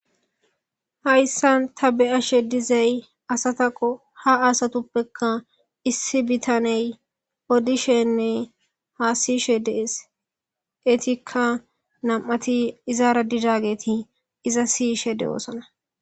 hayssan ta beyashe dizay asataqo ha asatuppekka issi bitaney oddishenne haa sishe dees eetikka nam7ati izaara didageti iza siyishe de7oosana